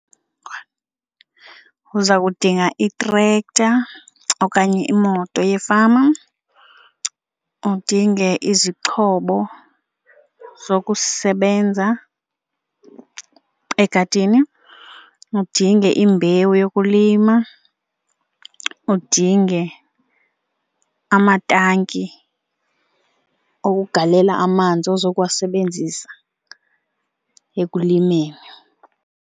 Uza kudinga itrekta okanye imoto yefama, udinge izixhobo zokusebenza egadini, udinge imbewu yokulima, udinge amatanki okugalela amanzi ozokuwasebenzisa ekulimeni.